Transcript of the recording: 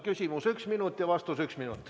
Küsimus üks minut ja vastus üks minut.